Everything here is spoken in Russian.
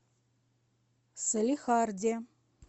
салехарде